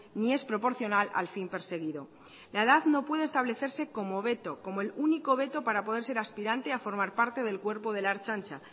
ni es proporcional al fin perseguido la edad no puede establecerse como veto como el único veto para poder ser aspirante a formar parte del cuerpo de la ertzaintza